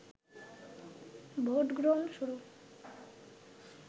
ভোটগ্রহণ শুরু